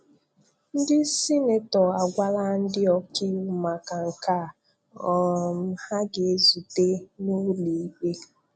Ndị Sịnetọ agwala ndị ọkaiwu maka nke a, um ha ga-ezute n'ụlọikpe.